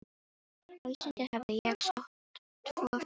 Á Íslandi hafði ég sótt tvo fundi.